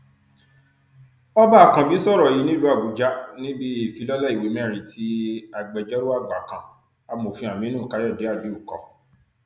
ọba àkànbí sọrọ yìí nílùú àbújá níbi ìfilọlẹ ìwé mẹrin tí agbẹjọrò àgbà kan amòfin aminu káyọdé aliu kọ